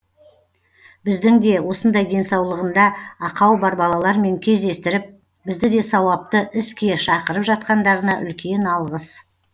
біздің де осындай денсаулығында ақау бар балалармен кездестіріп бізді де сауапты іске шақырып жатқандарына үлкен алғыс